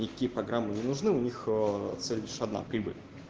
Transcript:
никакие программу не нужны у них цель лишь одна прибыль